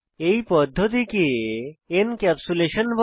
এই পদ্ধতিকে এনক্যাপসুলেশন বলে